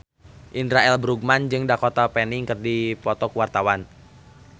Indra L. Bruggman jeung Dakota Fanning keur dipoto ku wartawan